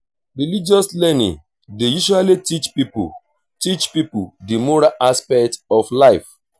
religious learning dey usually teach pipo teach pipo di moral aspect of life